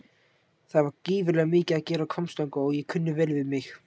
Það var gífurlega mikið að gera á Hvammstanga og ég kunni vel við mig.